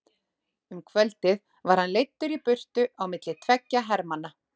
Um kvöldið var hann leiddur í burtu á milli tveggja hermanna.